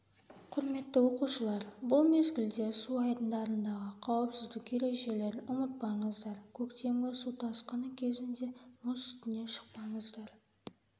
құрметті оқушылар бұл мезгілде су айдындарындағы қауіпсіздік ережелерін ұмытпаңыздар көктемгі су тасқыны кезінде мұз үстіне шықпаңыздар